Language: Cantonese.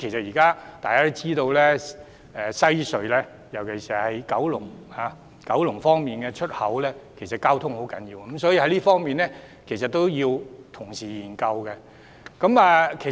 大家也知道，現時西隧九龍出口的交通十分重要，所以這方面亦需要同時研究。